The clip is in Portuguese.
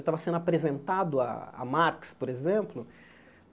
Eu estava sendo apresentado a a Marx, por exemplo.